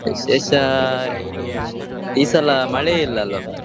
ವಿಶೇಷ ಈ ಸಲಾ ಮಳೆ ಇಲ್ಲಲ್ವ ಮಾರೆ.